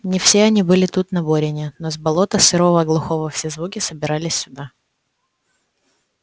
не все они были тут на борине но с болота сырого глухого все звуки собирались сюда